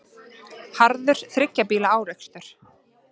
Harður þriggja bíla árekstur